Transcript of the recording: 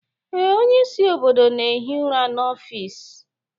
Ee, onyeisi obodo na-ehi ụra n'ọfịs